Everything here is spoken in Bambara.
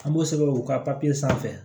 An b'o sɛbɛn u ka sanfɛ